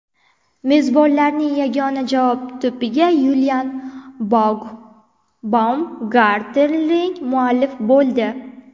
Mezbonlarning yagona javob to‘piga Yulian Baumgartlinger muallif bo‘ldi.